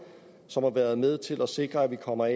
som har været med til at sikre at vi kommer